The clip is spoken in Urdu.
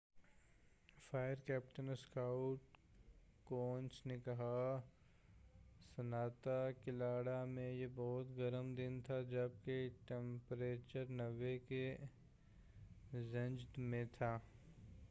فائر کیپٹن اسکاٹ کونس نے کہا سانتا کلارا میں یہ بہت گرم دن تھا جب کہ ٹمپریچر 90 کے رینج میں تھا